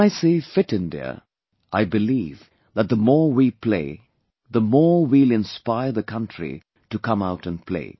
When I say 'Fit India', I believe that the more we play, the more we will inspire the country to come out & play